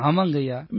ஆமாங்கய்யா